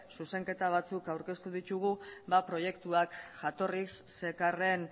zuzenketa batzuk aurkeztu ditugu ba proiektuak jatorriz zekarren